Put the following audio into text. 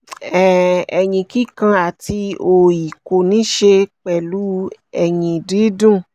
um eyín kíkan àti òòyì kò níí ṣe pẹ̀lú eyín dídùn